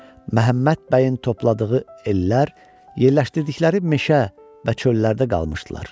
Məhəmməd bəyin topladığı ellər yerləşdirdikləri meşə və çöllərdə qalmışdılar.